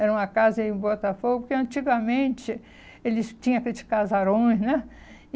Era uma casa em Botafogo, que antigamente eles tinham aqueles casarões, né?